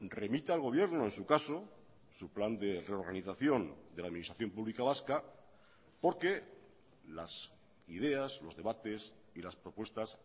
remita al gobierno en su caso su plan de reorganización de la administración pública vasca porque las ideas los debates y las propuestas